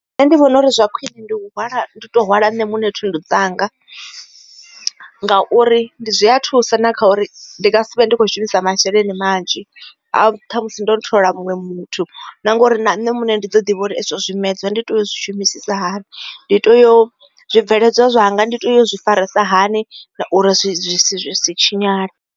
Nṋe ndi vhona uri zwa khwine ndi u to hwala nṋe muṋe thundu dzanga ngauri zwi a thusa na kha uri ndi nga si vhe ndi kho shumisa masheleni manzhi a uri ṱhamusi ndo thola la muṅwe muthu na ngori na nṋe muṋe ndi ḓo ḓivha uri zwimedzwa ndi to zwi shumisisa hani ndi to yo zwibveledzwa zwanga ndi to yo zwi farisa hani na uri zwi si tshinyale.